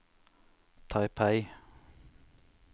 Taipei